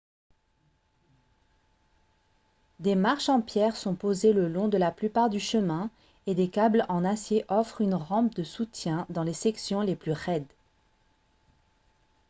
des marches en pierre sont posées le long de la plupart du chemin et des câbles en acier offrent une rampe de soutien dans les sections les plus raides